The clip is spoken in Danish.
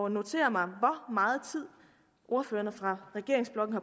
at notere mig hvor meget tid ordførerne fra regeringsblokken